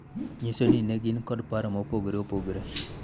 nyiso ni ne gin kod paro ma opogore opogore